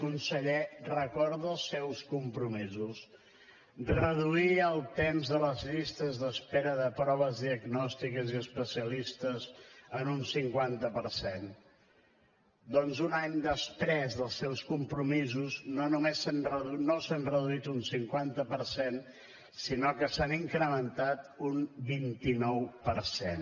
conseller recorda els seus compromisos reduir el temps de les llistes d’espera de proves diagnòstiques i especialistes en un cinquanta per cent doncs un any després dels seus compromisos no només no s’han reduït un cinquanta per cent sinó que s’ha incrementat un vint nou per cent